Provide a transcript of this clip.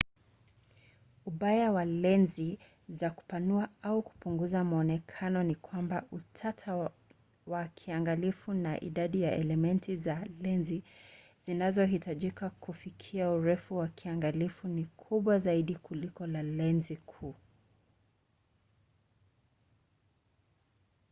ubaya wa lenzi za kupanua au kupunguza mwonekano ni kwamba utata wa kiangalifu na idadi ya elementi za lenzi zinazohitajika kufikia urefu wa kiangalifu ni kubwa zaidi kuliko za lenzi kuu